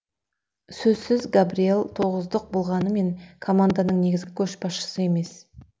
сөзсіз габриел тоғыздық болғанымен команданың негізгі көшбасшысы емес